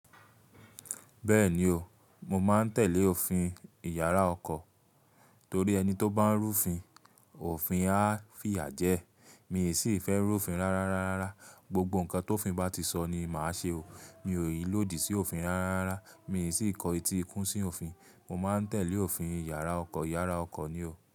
Bẹ́ẹ̀ni o, mo máa ń tẹ̀lé òfin ìyàrá ọkọ̀ torí ẹni tó bá ń rú fin, òfin á fìyà jẹ ẹ́. Mi sì fẹ́ rú òfin rárá rara. Gbogbo nǹkan tó òfin bá ti sọ ni màá ṣe o. Mi ò lòdì sí òfin rárá rara. Mi sì kọ eti kún sí òfin. Mo máa ń tẹ̀lé òfin ìyàrá ọkọ̀. Ìyàrá ọkọ̀ ni o.